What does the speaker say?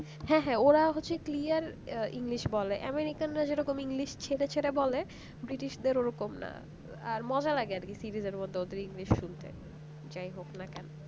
হ্যাঁ হ্যাঁ ওরা হচ্ছে একদম clear বলে american রা যেরকম english ছেড়ে ছেড়ে বলে ব্রিটিশদের ওরকম না আর মজা লাগে আর কি series র মধ্যে english শুনতে তাই যাই হোক না কেন